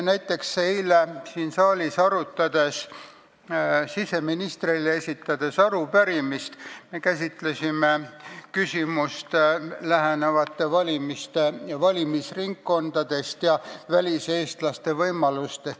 Näiteks eile oli siin saalis arutusel siseministrile esitatud arupärimine, kus me käsitlesime valimisringkondade ja väliseestlaste võimaluste küsimusi lähenevate valimiste kontekstis.